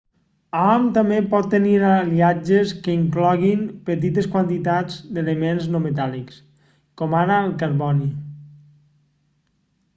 hom també pot tenir aliatges que incloguin petites quantitats d'elements no metàl·lics com ara el carboni